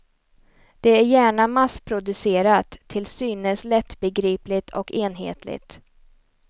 Det är gärna massproducerat, till synes lättbegripligt och enhetligt.